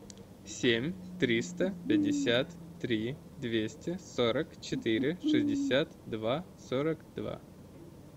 семь триста пятьдесят три двести сорок четыре шестьдесят два сорок два